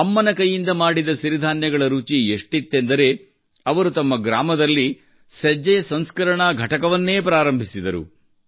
ಅಮ್ಮನ ಕೈಯಿಂದ ಮಾಡಿದ ಸಿರಿಧಾನ್ಯಗಳ ರುಚಿ ಎಷ್ಟಿತ್ತೆಂದರೆ ಅವರು ತಮ್ಮ ಗ್ರಾಮದಲ್ಲಿ ಸಜ್ಜೆಯ ಸಂಸ್ಕರಣಾ ಘಟಕವನ್ನೇ ಪ್ರಾರಂಭಿಸಿದರು